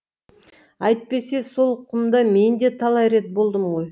әйтпесе сол құмда мен де талай рет болдым ғой